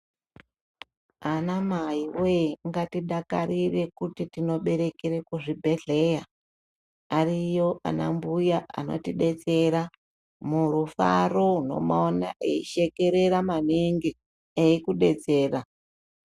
Anamai woye ngatidakarire kuti tinoberekere kuzvibhedhleya ariyo ana mbuya anotidetsera murufaro unomaona eishekerera maningi eikudetsera.